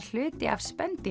hluti af